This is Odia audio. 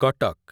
କଟକ୍